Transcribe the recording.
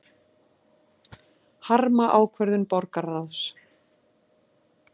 Harma ákvörðun borgarráðs